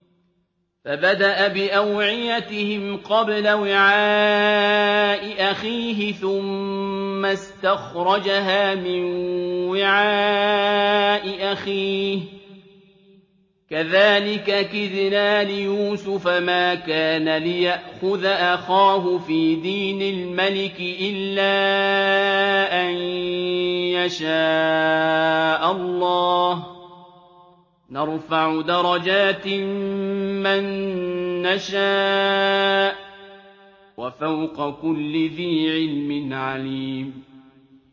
فَبَدَأَ بِأَوْعِيَتِهِمْ قَبْلَ وِعَاءِ أَخِيهِ ثُمَّ اسْتَخْرَجَهَا مِن وِعَاءِ أَخِيهِ ۚ كَذَٰلِكَ كِدْنَا لِيُوسُفَ ۖ مَا كَانَ لِيَأْخُذَ أَخَاهُ فِي دِينِ الْمَلِكِ إِلَّا أَن يَشَاءَ اللَّهُ ۚ نَرْفَعُ دَرَجَاتٍ مَّن نَّشَاءُ ۗ وَفَوْقَ كُلِّ ذِي عِلْمٍ عَلِيمٌ